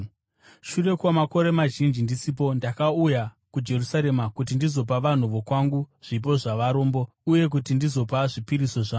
“Shure kwamakore mazhinji ndisipo, ndakauya kuJerusarema kuti ndizopa vanhu vokwangu zvipo zvavarombo uye kuti ndizopa zvipiriso zvangu.